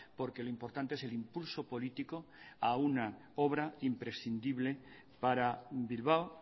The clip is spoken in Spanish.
porque lo importante es el impulso político a una obra imprescindible para bilbao